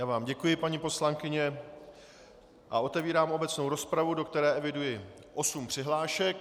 Já vám děkuji, paní poslankyně, a otevírám obecnou rozpravu, do které eviduji osm přihlášek.